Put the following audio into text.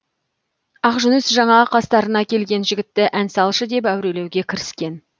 ақжүніс жаңа қастарына келген жігітті ән салшы деп әурелеуге кіріскен